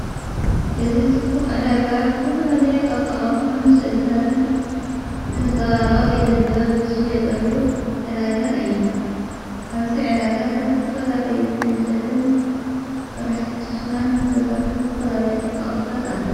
እዝ ዝጽቡቕ ዕዳጋ ዝተፈላለይ ኣርፃቐርጸም ስእልታትን ዘንጸባረቐ ኢደጥበ ብሱ የጠሉ ዕዳጋ እየ ኣብዚ ዕዳጋ ካብዝቲፈላለዩ ዕንጨትን ሠራሕቲ ሸኽላን ብተሠርሐ ዝተፈላለይ ኣርፀቐርታት ኣለዉ።